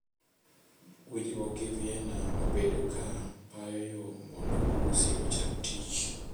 Winjruok gi Vienna obedo ka payo yoo mondo Urusi ochak tich.